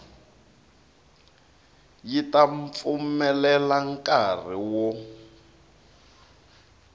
yi ta pfumelela nkari wo